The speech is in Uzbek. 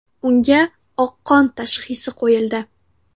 Unga oqqon tashxisi qo‘yildi.